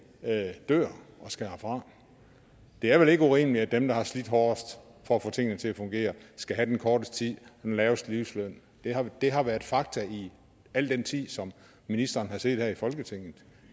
dør og skal herfra det er vel ikke rimeligt at dem der har slidt hårdest for at få tingene til at fungere skal have den korteste tid og den laveste livsløn det har været fakta i al den tid ministeren har siddet her i folketinget